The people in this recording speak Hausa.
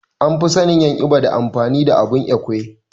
An fi sannin en ibo da amfanin abun Ekwe.